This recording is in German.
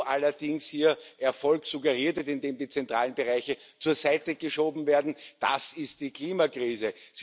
Wo allerdings hier Erfolg suggeriert wird, indem die zentralen Bereiche zur Seite geschoben werden, das ist die Klimakrise.